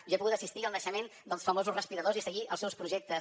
jo he pogut assistir al naixement dels famosos respiradors i seguir els seus projectes